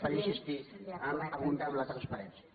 per insistir a aprofundir en la transparència